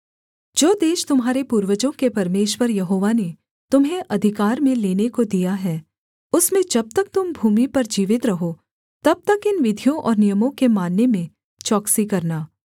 जो देश तुम्हारे पूर्वजों के परमेश्वर यहोवा ने तुम्हें अधिकार में लेने को दिया है उसमें जब तक तुम भूमि पर जीवित रहो तब तक इन विधियों और नियमों के मानने में चौकसी करना